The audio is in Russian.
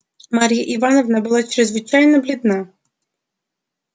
марья ивановна была чрезвычайно бледна